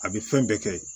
A bɛ fɛn bɛɛ kɛ